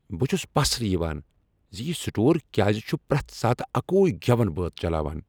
بہ چھس پسرٕ یوان ز یہ سٹور کیازِ چھ پریتھ ساتہٕ اکوی گیون بٲتھ چلاوان۔